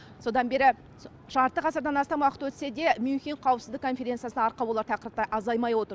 содан бері жарты ғасырдан астам уақыт өтсе де мюнхен қауіпсіздік конференциясына арқау болар тақырыптар азаймай отыр